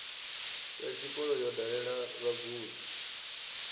ya tshikolo yo dalela vhagudi